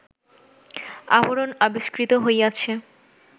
আভরণ আবিষ্কৃত হইয়াছে